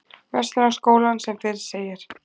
Verslunarskólann sem fyrr segir.